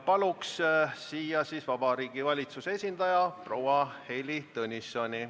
Palun siia Vabariigi Valitsuse esindaja proua Heili Tõnissoni.